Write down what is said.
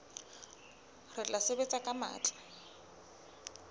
re tla sebetsa ka matla